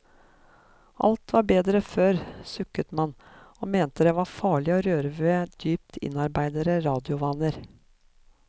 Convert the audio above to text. Alt var bedre før, sukket man, og mente det var farlig å røre ved dypt innarbeidede radiovaner.